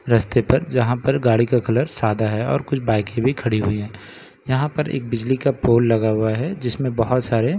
रस्ते पर यहां पर गाड़ी का कलर सादा है और कुछ बाइकें भी खड़ी हुई हैं यहाँ पर एक बिजली का पोल लगा हुआ है जिसमे बहुत सारे ।